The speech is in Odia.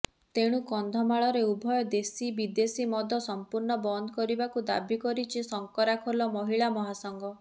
ତେଣୁ କନ୍ଧମାଳରେ ଉଭୟ ଦେଶୀ ବିଦେଶୀ ମଦ ସଂପୂର୍ଣ୍ଣ ବନ୍ଦ କରିବାକୁ ଦାବି କରିଛି ଶଙ୍କରାଖୋଲ ମହିଳା ମହାସଂଘ